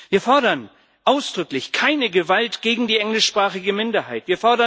Wir fordern ausdrücklich Keine Gewalt gegen die englischsprachige Minderheit.